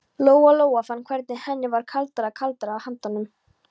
Lóa Lóa fann hvernig henni varð kaldara og kaldara á höndunum.